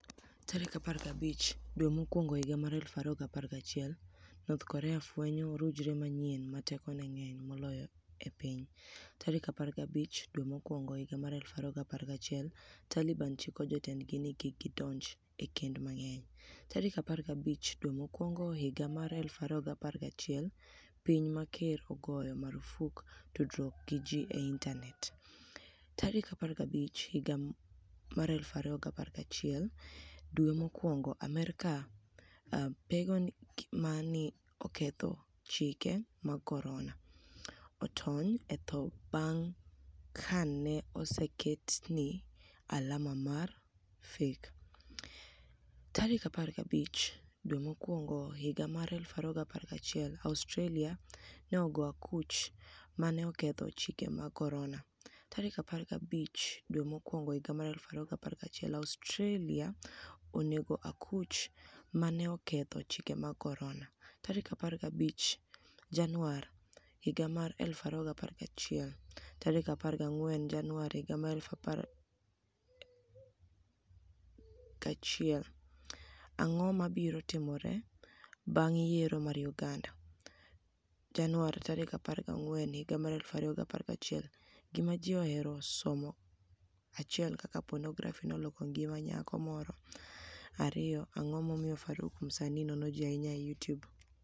15 Janiuar 2021 north Korea fweniyo orujre maniyieni 'ma tekoni e nig'eniy moloyo e piniy'15 Janiuar 2021 Talibani chiko jotenidgi nii kik gidonij e kenid manig'eniy15 Janiuar 2021 Piniy ma ker ogoyo marfuk tudruok gi ji e initani et15 Janiuar 2021 Amerka Pigeoni 'ma ni e oketho chike mag coronia' otoniy e tho banig' ka ni e oseketni e alama mar feki15 Janiuar 2021 Australia ni ego akuch 'ma ni e oketho chike mag coronia'15 Janiuar 2021 Australia oni ego akuch 'ma ni e oketho chike mag coronia'15 Janiuar 2021 14 Janiuar 2021 Anig'o mabiro timore banig' yiero mar Uganida? 14 Janiuar 2021 Gima Ji Ohero Somo 1 Kaka Ponografi noloko nigima niyako Moro 2 Anig'o MomiyoFaruk Msanii nono Ji Ahiniya e Youtube?